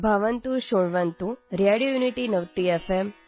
ಭವಂತಃ ಶೃಣ್ವಂತು radio unity ನವತಿ F